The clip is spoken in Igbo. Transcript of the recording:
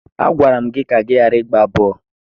Agwara m gị ka ị ghara ịgba bọọlụ!